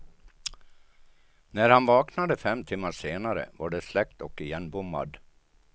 När han vaknade fem timmar senare var det släckt och igenbommad.